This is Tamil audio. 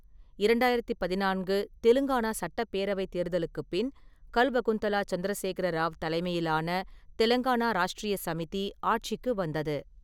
இரண்டாயிரத்தி பதினான்கு தெலுங்கானா சட்டப்பேரவைத் தேர்தலுக்குப் பின், கல்வகுந்தலா சந்திரசேகர ராவ் தலைமையிலான தெலுங்கானா ராஷ்ட்ரிய சமிதி ஆட்சிக்கு வந்தது.